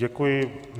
Děkuji.